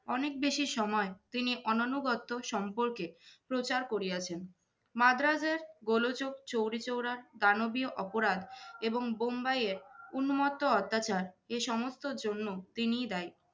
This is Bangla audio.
অনেক বেশি সময় তিনি অননানুগত সম্পর্কে প্রচার করিয়াছেন। মাদ্রাজের গোলোযোগ, চৌরিচৌরার দানবীয় অপরাধ এবং বোম্বাইয়ের উন্মত্ত অত্যাচার এ সমস্তের জন্য তিনিই দায়ী।